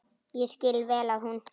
Ég skil vel að hún.